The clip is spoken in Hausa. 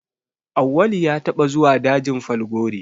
Auwalu ya taɓa zuwa dajin Falgore